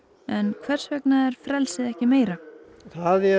hvers vegna er frelsið ekki meira það er